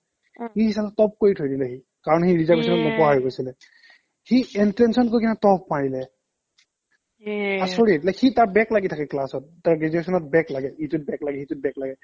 সি চালা top কৰি থৈ দিলে সি কাৰণ সি reservation ত ন পঢ়া হৈ গৈছিলে entrance ও top মাৰিলে আচৰিত like সি তাৰ back লাগি থাকে class ত তাৰ graduationত back লাগে ইটোত back লাগে সি টোত back লাগে